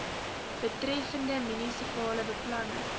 betreffende munisipale beplanning